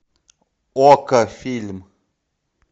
окко фильм